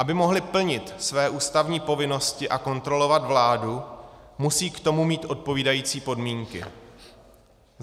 Aby mohli plnit své ústavní povinnosti a kontrolovat vládu, musejí k tomu mít odpovídající podmínky.